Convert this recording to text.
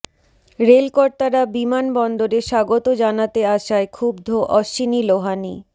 রেলকর্তারা বিমান বন্দরে স্বাগত জানাতে আসায় ক্ষুব্ধ অশ্বিনী লোহানি